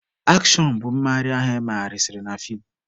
Akshọn bụ mmegharị ahụ emegasịrị na feem.